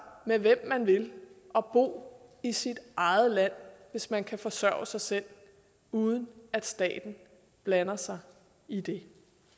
med hvem man vil og bo i sit eget land hvis man kan forsørge sig selv uden at staten blander sig i det